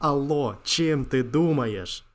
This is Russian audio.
алло чем ты думаешь